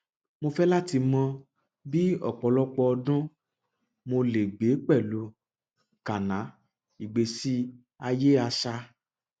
mo fẹ lati mọ bi ọpọlọpọ ọdun mo le gbe pẹlu kanna igbesi aye aṣa